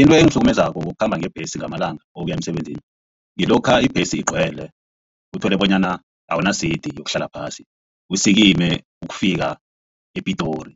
Into engihlukumezako ngokukhamba ngebhesi ngamalanga ukuya emsebenzini ngilokha ibhesi igcwele uthole bonyana awunasidi yokuhlala phasi. Usikime ukufika ePitori